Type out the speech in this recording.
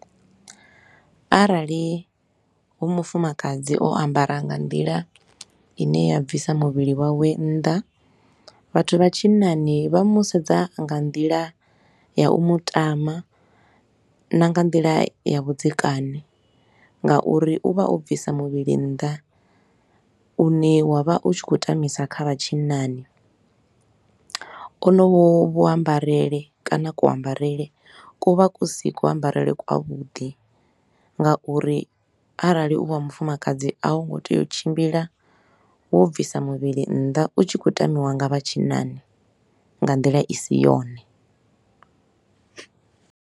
Arali hu mufumakadzi o ambara nga nḓila i ne ya bvisa muvhili wawe nnḓa, vhathu vha tshinnani vha mu sedza nga nḓila ya u mutama na nga nḓila ya vhudzekani, ngauri u vha o bvisa muvhili nnḓa u ne wa vha u tshi khou tamisa kha vha tshinnani. Onovho vhu ambarele kana ku ambarele ku vha ku si ku ambarele kwa vhuḓi, nga uri arali u wa mufumakadzi a u ngo tea u tshimbila wo bvisa muvhili nnḓa u tshi khou tamiwa nga vha tshinnani nga nḓila i si yone.